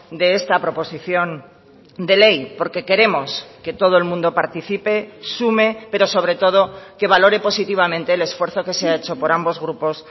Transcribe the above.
de esta proposición de ley porque queremos que todo el mundo participe sume pero sobre todo que valore positivamente el esfuerzo que se ha hecho por ambos grupos